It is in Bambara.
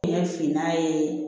Ɲɛ finma ye